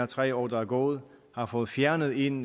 tre år der er gået har fået fjernet en